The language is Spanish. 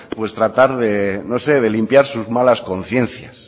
pues tratar no sé de limpiar sus malas conciencias